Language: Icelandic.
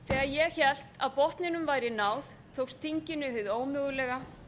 þegar ég hélt að botninum væri náð tókst þinginu hið ómögulega